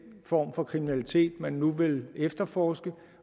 form for kriminalitet man nu vil efterforske